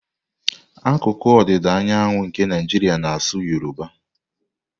Akụkụ ọdịda anyanwụ nke Naijiria na-asụ Yoruba.